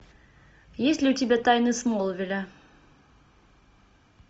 есть ли у тебя тайны смолвиля